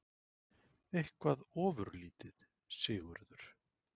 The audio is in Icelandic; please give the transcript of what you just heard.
Eitthvað ofurlítið, Sigurður?